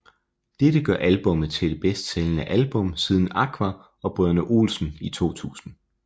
Dette gør albummet til det bedst sælgende album siden Aqua og Brødrene Olsen i 2000